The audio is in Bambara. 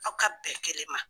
Aw ka bɛn kelen ma.